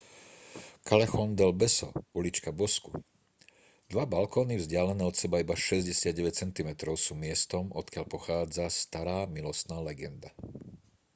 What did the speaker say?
callejon del beso ulička bozku. dva balkóny vzdialené od seba iba 69 centimetrov sú miestom odkiaľ pochádza stará milostná legenda